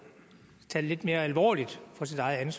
forslag er